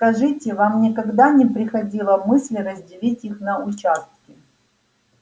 скажите вам никогда не приходила мысль разделить их на участки